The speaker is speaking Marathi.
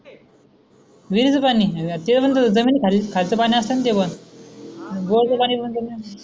विरिच पानी अरे थे मंग जमीन खाल खालच पानी असन ते पण बोरच पानी पण पेणे